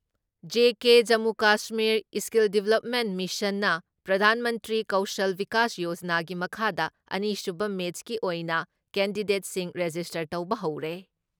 JK Jammu Kashmir skill development ꯃꯤꯁꯟꯅ ꯄ꯭ꯔꯙꯥꯟ ꯃꯟꯇ꯭ꯔꯤ ꯀꯧꯁꯜ ꯕꯤꯀꯥꯁ ꯌꯣꯖꯅꯥꯒꯤ ꯃꯈꯥꯗ ꯑꯅꯤꯁꯨꯕ ꯃꯦꯠꯁꯀꯤ ꯑꯣꯏꯅ ꯀꯦꯟꯗꯤꯗꯦꯠꯁꯤꯡ ꯔꯦꯖꯤꯁꯇꯥꯔ ꯇꯧꯕ ꯍꯧꯔꯦ ꯫